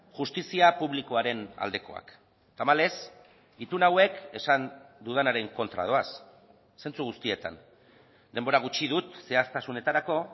justizia publikoaren aldekoak tamalez itun hauek esan dudanaren kontra doaz zentzu guztietan denbora gutxi dut zehaztasunetarako